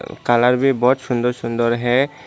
Colour भी बहुत सुंदर सुंदर है।